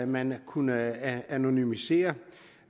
man kunne anonymisere